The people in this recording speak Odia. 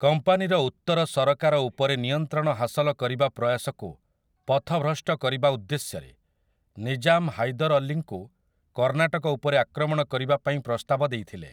କମ୍ପାନୀର ଉତ୍ତର ସରକାର ଉପରେ ନିୟନ୍ତ୍ରଣ ହାସଲ କରିବା ପ୍ରୟାସକୁ ପଥଭ୍ରଷ୍ଟ କରିବା ଉଦ୍ଦେଶ୍ୟରେ ନିଜାମ୍ ହାଇଦର୍ ଅଲ୍ଲୀଙ୍କୁ କର୍ଣ୍ଣାଟକ ଉପରେ ଆକ୍ରମଣ କରିବା ପାଇଁ ପ୍ରସ୍ତାବ ଦେଇଥିଲେ ।